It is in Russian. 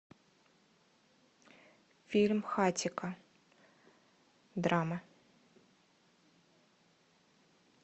фильм хатико драма